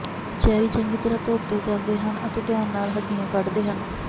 cherry ਚੰਗੀ ਤਰ੍ਹਾਂ ਧੋਤੇ ਜਾਂਦੇ ਹਨ ਅਤੇ ਧਿਆਨ ਨਾਲ ਹੱਡੀਆਂ ਕੱਢਦੇ ਹਨ